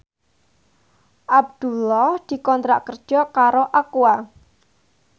Abdullah dikontrak kerja karo Aqua